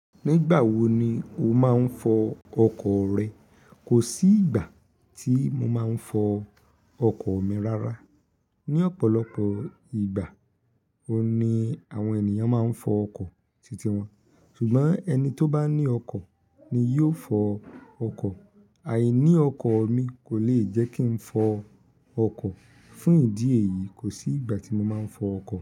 Nígbà wo ni o máa ń fọ ọkọ̀ rẹ? Kò sí ìgbà tí mo máa ń fọ ọkọ̀ mi rárá. Ni ọ̀pọ̀lọpọ̀ ìgbà, òun ni àwọn ènìyàn máa ń fọ ọkọ̀ titi wọn. Ṣùgbọ́n ẹni tó bá ní ọkọ̀ ni yóò fọ ọkọ̀. Àìní ọkọ̀ mi kò le jẹ́ kí n fọ ọkọ̀. Fún ìdí èyí, kò sí ìgbà tí mo máa ń fọ ọkọ̀.